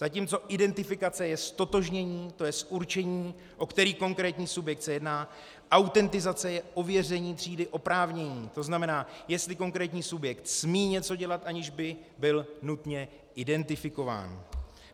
Zatímco identifikace je ztotožnění, to jest určení, o který konkrétní subjekt se jedná, autentizace je ověření třídy oprávnění, to znamená, jestli konkrétní subjekt smí něco dělat, aniž by byl nutně identifikován.